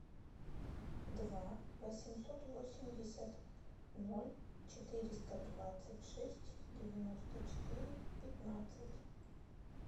два восемьсот восемьдесят ноль четыреста двадцать шесть девяносто четыре пятнадцать